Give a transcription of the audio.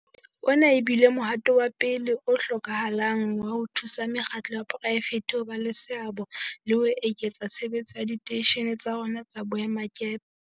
Ona e bile mohato wa pele o hlokahalang wa ho thusa mekgatlo ya poraefete ho ba le seabo le ho eketsa tshebetso ya diteishene tsa rona tsa boemakepe.